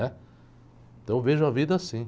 né? Então eu vejo a vida assim.